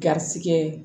Garisigɛ